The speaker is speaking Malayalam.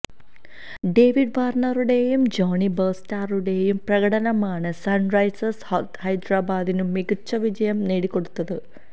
ഡേവിഡ് വാര്ണറുടെയും ജോണി ബെയര്സ്റ്റോയുടെയും പ്രകടനമാണ് സണ്റൈസേഴ്സ് ഹൈദരാബാദിന് മികച്ച വിജയം നേടിക്കൊടുത്തത്